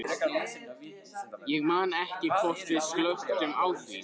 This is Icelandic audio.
Ég man ekki hvort við slökktum á því.